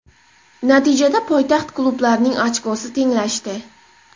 Natijada poytaxt klublarining ochkosi tenglashdi.